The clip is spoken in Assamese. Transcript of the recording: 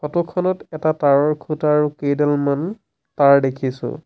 ফটো খনত এটা তাঁৰৰ খুঁটা আৰু কেইডালমান তাঁৰ দেখিছোঁ।